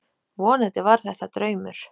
Vonandi var þetta draumur.